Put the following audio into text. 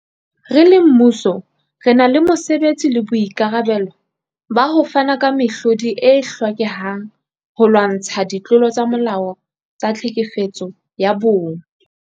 Re le mmuso, re na le mosebetsi le boikarabelo ba ho fana ka mehlodi e hlokehang holwantshwa ditlolo tsa molao tsa tlhekefetso ya bong.